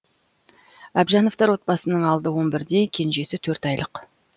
әбжановтар отбасысының алды он бірде кенжесі төрт айлық